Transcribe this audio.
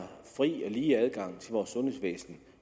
fri og lige adgang til vores sundhedsvæsen